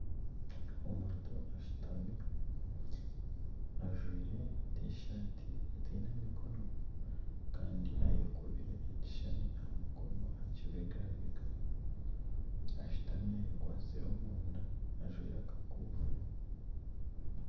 Omutu ashutami ajwaire tishati etaine mikono kandi ayeteire ekishushani aha mukono aha kibegabega ashutami ayekwatsire omunda ajwaire akakofiira.